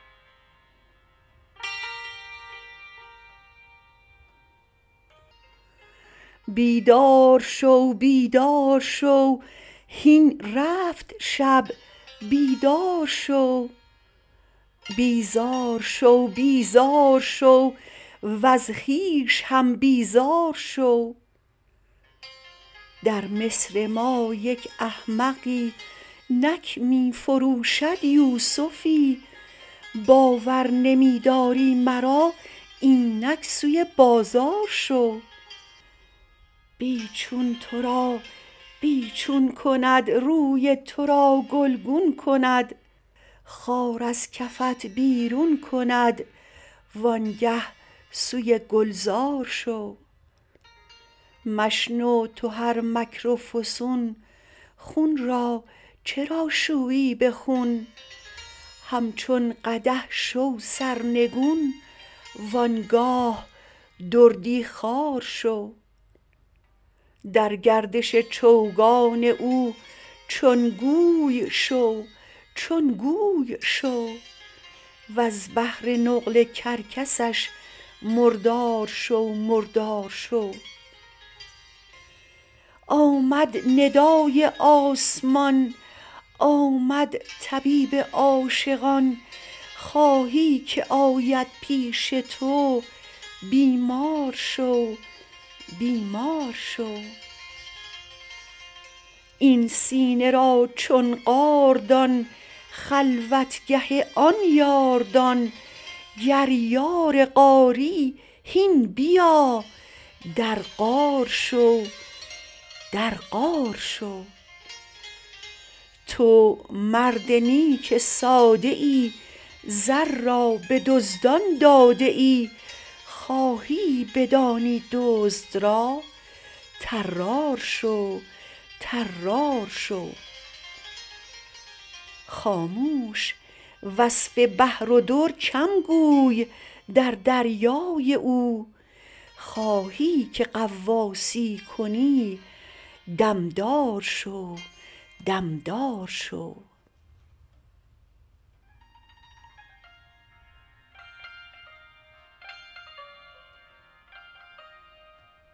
بیدار شو بیدار شو هین رفت شب بیدار شو بیزار شو بیزار شو وز خویش هم بیزار شو در مصر ما یک احمقی نک می فروشد یوسفی باور نمی داری مرا اینک سوی بازار شو بی چون تو را بی چون کند روی تو را گلگون کند خار از کفت بیرون کند وآنگه سوی گلزار شو مشنو تو هر مکر و فسون خون را چرا شویی به خون همچون قدح شو سرنگون و آن گاه دردی خوار شو در گردش چوگان او چون گوی شو چون گوی شو وز بهر نقل کرکسش مردار شو مردار شو آمد ندای آسمان آمد طبیب عاشقان خواهی که آید پیش تو بیمار شو بیمار شو این سینه را چون غار دان خلوتگه آن یار دان گر یار غاری هین بیا در غار شو در غار شو تو مرد نیک ساده ای زر را به دزدان داده ای خواهی بدانی دزد را طرار شو طرار شو خاموش وصف بحر و در کم گوی در دریای او خواهی که غواصی کنی دم دار شو دم دار شو